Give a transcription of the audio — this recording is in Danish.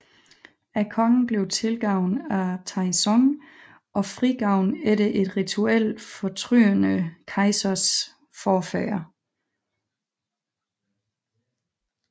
Kongen blev tilgivet af Taizong og frigivet efter et rituelt fortrydende kejsers forfædre